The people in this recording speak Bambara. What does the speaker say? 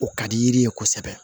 O ka di yiri ye kosɛbɛ